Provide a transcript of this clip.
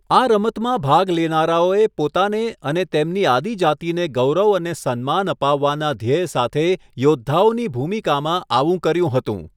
આ રમતમાં ભાગ લેનારાઓએ પોતાને અને તેમની આદિજાતિને ગૌરવ અને સન્માન અપાવવાનાં ધ્યેય સાથે યોદ્ધાઓની ભૂમિકામાં આવું કર્યું હતું.